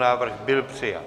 Návrh byl přijat.